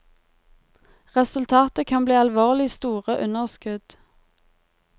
Resultatet kan bli alvorlige store underskudd.